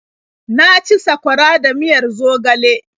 Na ci sakwara da miyar zogale.